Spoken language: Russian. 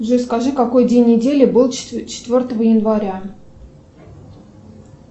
джой скажи какой день недели был четвертого января